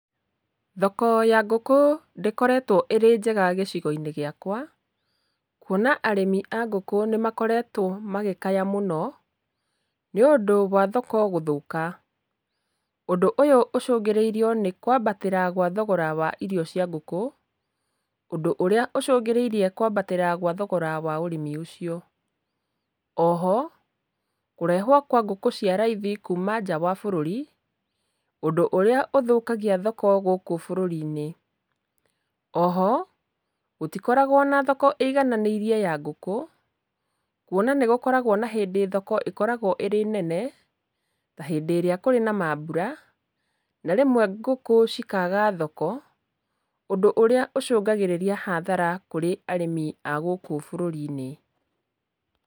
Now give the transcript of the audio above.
Thoko ya ngũkũ ndĩkoretwo ĩrĩ njega gĩcigo-inĩ gĩakwa, kuona arĩmi a ngũkũ nĩ makoretwo magĩkaya mũno, nĩũndũ wa thoko gũthũka, ũndũ ũyũ ũcũngĩrĩirio nĩ kwambatĩra gwa thogora wa irio cia ngũkũ, ũndũ ũrĩa ũcũngĩrĩirie kwambatĩra gwa thogora wa ũrĩmi ũcio. Oho, kũrehwo kwa ngũkũ cia raithi kuuma nja wa bũrũri, ũndũ ũrĩa ũthũkagia thoko gũkũ bũrũri-inĩ, oho gũtikoragwo na thoko ĩigananĩirie ya ngũkũ, kuona nĩ gũkoragwo na hĩndĩ thoko ikoragwo ĩrĩ nene ta hĩndĩ ĩrĩa kũrĩ na mambura, na rĩmwe ngũkũ cikaga thoko, ũndũ ũrĩa ũcũngagĩrĩria hathara kũrĩ arĩmi a gũkũ bũrũri-inĩ.